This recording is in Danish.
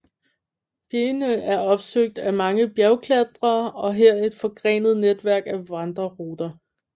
Bjegene er opsøgt af mange bjergklatrere og her er et forgrenet netværk af vandreruter